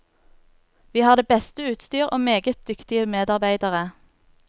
Vi har det beste utstyr og meget dyktige medarbeidere.